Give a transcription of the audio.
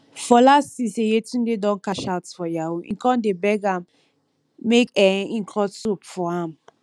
fola see say yetunde don cash out for yahoo e come dey beg am make um im cut soap for am